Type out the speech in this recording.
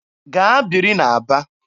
Gaa biri n'Aba!